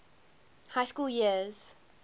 high school years